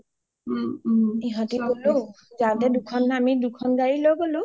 ইহতি গ’লো যাওতে আমি দুখন গাৰি লৈ গ’লো